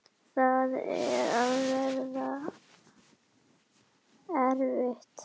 Það á að vera erfitt.